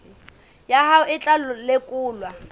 ya hao e tla lekolwa